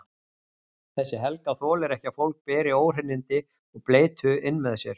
Þessi Helga þolir ekki að fólk beri óhreinindi og bleytu inn með sér.